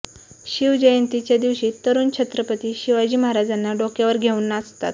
शिवजयंतीच्या दिवशी तरुण छत्रपती शिवाजी महाराजांना डोक्यावर घेऊन नाचतात